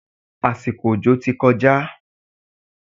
Àsìkò òjò ti kọjá.